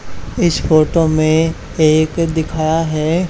इस फोटो में एक दिखा है --